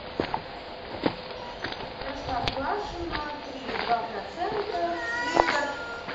простоквашино три и два процента литр